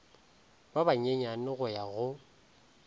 ba banyenyane go ya go